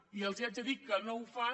i els haig de dir que no ho fan